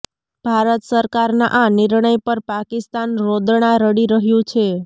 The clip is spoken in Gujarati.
ભારત સરકારના આ નિર્ણય પર પાકિસ્તાન રોદણાં રડી રહ્યું છે